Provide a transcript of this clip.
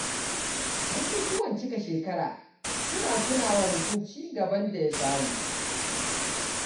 Bukukuwan cika shekara suna tuna wa mutum ci gaban da ya samu.